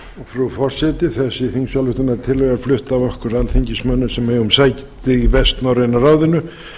frú forseti þessi þingsályktunartillaga er flutt af okkur alþingismönnum sem eigum sæti í vestnorræna ráðinu